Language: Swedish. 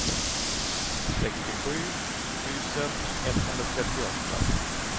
sextiosju tusen etthundratrettioåtta